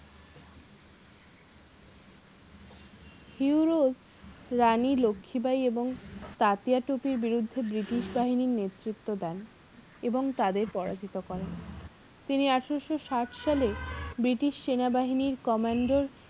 Europe Rani Lakshmibai এবং তাতিয়াটোপির বিরুদ্ধে british বাহিনীর নেতৃত্ব দেন এবং তাদের পরাজিত করেন তিনি আঠারোশো সাট সালে british সেনাবাহিনীর command র